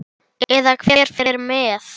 Eða hver fer með.